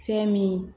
Fɛn min